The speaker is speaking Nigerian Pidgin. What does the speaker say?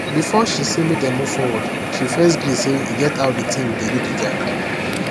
before she say make dem move forward she first gree say he get how the thing dey do the guy